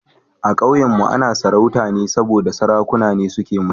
A Kauyenmu ana sarauta ne saboda Sarakuna ne suke mulki